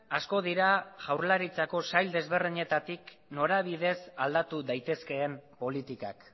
asko dira jaurlaritzako sail desberdinetatik norabidez aldatu daitezkeen politikak